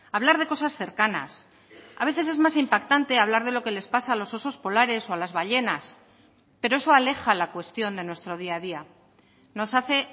hablar de cosas cercanas a veces es más impactante hablar de lo que les pasa a los osos polares o a las ballenas pero eso aleja la cuestión de nuestro día a día nos hace